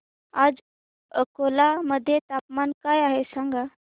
आज अकोला मध्ये तापमान काय आहे सांगा